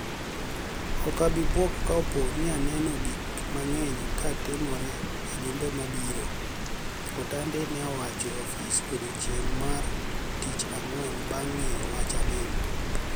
Ok ibibwok ka opo ani eno gik manig'eniy ka timore e jumbe moko mabiro mabiro", Atanidi ni e owacho e ofise e odiechienig' mar Tich Anig'weni banig' nig'eyo wach Anini